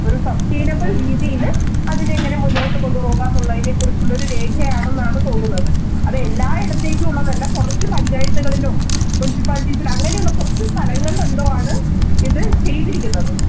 ഒരു succeedable രീതിയില് അതിനെ എങ്ങനെ മുന്നോട്ട് കൊണ്ടുപോകാം എന്നതിനെ കുറിച്ചുള്ള ഒരു രേഖയാണെന്നാണ് തോന്നുന്നത്. അത് എല്ലായിടത്തെക്കും ഉള്ള അല്ല. കുറച്ചു panchayath കളിലോ, Muncipalities അങ്ങനെയുള്ള കുറച്ചു സ്ഥലങ്ങളില്‍ എന്തോ ആണ് ഇത് ചെയ്തിരിക്കുന്നത്.